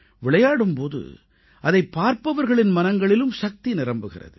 விளையாடும் போது அதைப் பார்ப்பவர்களின் மனங்களிலும் சக்தி நிரம்புகிறது